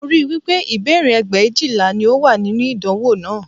Mo rí i wí pé ìbéèrè ẹgbẹ̀éjìlá ni ó wà nínú ìdánwò náà